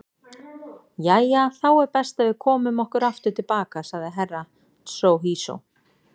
Jæja þá er best að við komum okkur aftur til baka, sagði Herra Tsohizo.